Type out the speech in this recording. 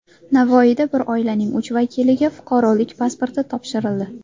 Navoiyda bir oilaning uch vakiliga fuqarolik pasporti topshirildi.